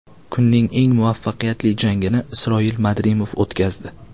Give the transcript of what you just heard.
Kunning eng muvaffaqiyatli jangini Isroil Madrimov o‘tkazdi.